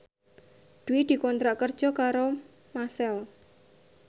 Dwi dikontrak kerja karo Maxell